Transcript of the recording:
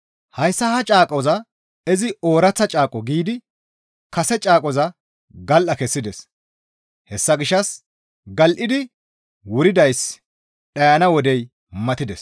Hayssa ha caaqoza izi, «Ooraththa Caaqo» giidi kase caaqoza gal7a kessides; hessa gishshas gal7idi wuridayssi dhayana wodey matides.